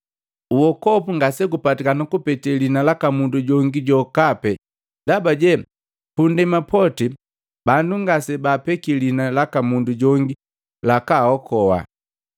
Uokopu ngasegupatikani kupetee liina laka mundu jongi jokape ndabaje, pu nndema poti bandu ngasebaapeki liina laka mundu jongi lakaaokoa.”